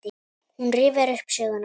Hún rifjar upp söguna.